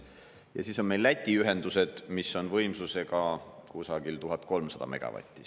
Ja siis on meil Läti ühendused, mis on võimsusega kusagil 1300 megavatti.